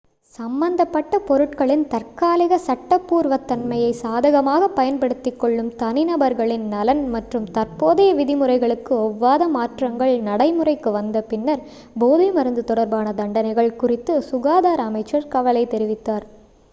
சம்பந்தப்பட்ட பொருட்களின் தற்காலிக சட்டபூர்வத்தன்மையை சாதகமாகப் பயன்படுத்திக் கொள்ளும் தனிநபர்களின் நலன் மற்றும் தற்போதைய விதிமுறைகளுக்கு ஒவ்வாத மாற்றங்கள் நடைமுறைக்கு வந்த பின்னர் போதைமருந்து தொடர்பான தண்டனைகள் குறித்து சுகாதார அமைச்சர் கவலை தெரிவித்தார்